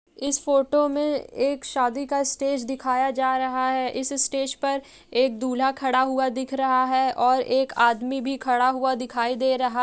इस फोटो मे एक शादी का स्टेज दिखाया जा रहा है। इस स्टेज पर एक दूल्हा खाड़ा हुआ दिख रहा है और एक आदमी भी खाड़ा हुआ दिखाई दे रहा --